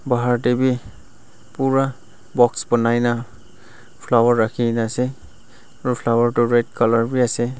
bahar tae bi pura box banai na flower rakhina ase aro flower toh red colour bi ase.